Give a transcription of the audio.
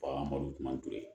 Bagan mɔdɛli kuma to yen